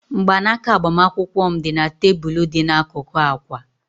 Mgbanaka agbamakwụkwọ m dị na tebụl dị n'akụkụ akwa